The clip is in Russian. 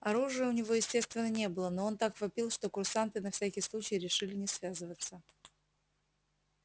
оружия у него естественно не было но он так вопил что курсанты на всякий случай решили не связываться